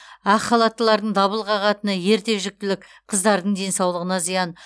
ақ халаттылардың дабыл қағатыны ерте жүктілік қыздардың денсаулығына зиян